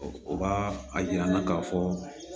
O b'a a yir'an na k'a fɔ